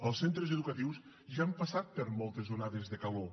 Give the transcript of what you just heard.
els centres educatius ja han passat per moltes onades de calor